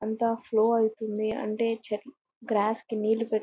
అంతా ఫ్లో అవుతుంది. అంటే చిట్ గ్రాస్ కి నీళ్లు పెట్--